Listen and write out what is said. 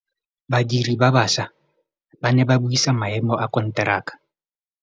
Badiri ba baša ba ne ba buisa maêmô a konteraka.